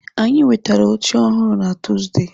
Anyị nwetara oche ọhụrụ na Tuuzde.